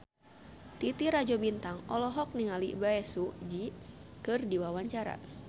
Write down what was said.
Titi Rajo Bintang olohok ningali Bae Su Ji keur diwawancara